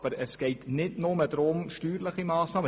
Aber es geht nicht nur um steuerliche Massnahmen.